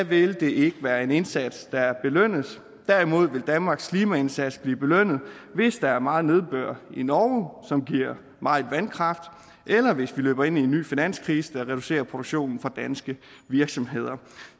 vil det ikke være en indsats der belønnes derimod vil danmarks klimaindsats blive belønnet hvis der er meget nedbør i norge som giver meget vandkraft eller hvis vi løber ind i en ny finanskrise der reducerer produktionen fra danske virksomheder